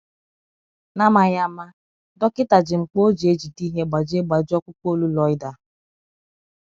N’amaghị ama, dọkịta ji mkpà o ji ejide ihe gbajie gbajie ọkpụkpụ olu Loida.